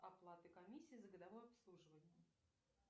оплаты комиссии за годовое обслуживание